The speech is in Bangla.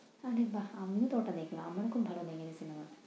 আরে বাহ! আমিও তো ওটা দেখলাম। আমার খুব ভালো লাগে ওই cinema ।